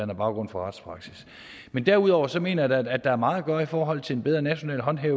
baggrund for retspraksis men derudover så mener jeg da at der er meget at gøre i forhold til en bedre national håndtering